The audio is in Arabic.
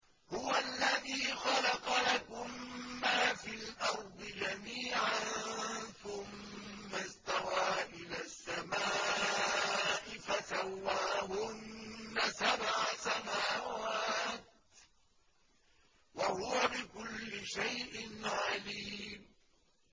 هُوَ الَّذِي خَلَقَ لَكُم مَّا فِي الْأَرْضِ جَمِيعًا ثُمَّ اسْتَوَىٰ إِلَى السَّمَاءِ فَسَوَّاهُنَّ سَبْعَ سَمَاوَاتٍ ۚ وَهُوَ بِكُلِّ شَيْءٍ عَلِيمٌ